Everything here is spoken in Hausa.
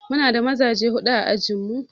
Mu na da mazaje huɗu a ajin mu.